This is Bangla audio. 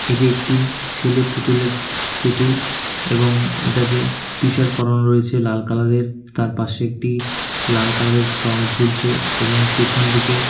এটি একটি ছেলে পুতুলের পুতুল এবং এটাকে টিশার্ট পরানো রয়েছে লাল কালার -এর তার পাশে একটি লাল কালার -এর রং ঝুলছে এবং পেছনদিকে--